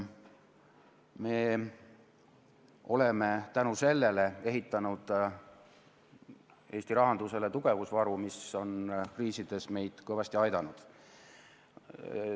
Me oleme tänu sellele ehitanud Eesti rahandusele tugevusvaru, mis on kriisides meid kõvasti aidanud.